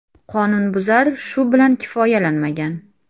Qonunbuzar shu bilan kifoyalanmagan.